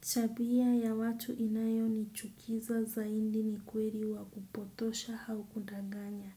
Tabia ya watu inayonichukiza zaidi ni kweli wa kupotosha au kudanganya.